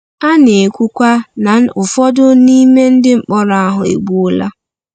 A na-ekwukwa na ụfọdụ n’ime ndị mkpọrọ ahụ e gbuola.